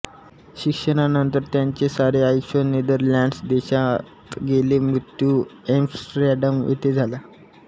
शिक्षणानंतर त्यांचे सारे आयुष्य नेदरलँड्स देशात गेले मृत्यु ऍम्स्टरडॅम येथे झाला